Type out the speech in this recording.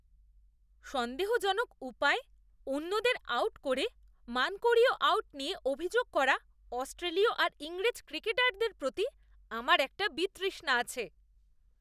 সন্দেহজনক উপায়ে অন্যদের আউট করে মানকড়ীয় আউট নিয়ে অভিযোগ করা অস্ট্রেলীয় আর ইংরেজ ক্রিকেটারদের প্রতি আমার একটা বিতৃষ্ণা আছে।